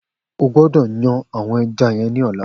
O gbọ́dọ̀ yan àwọn eja yen ní ọ̀la